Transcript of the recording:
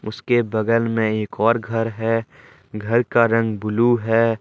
उसके बगल में एक और घर है घर का रंग ब्लू है।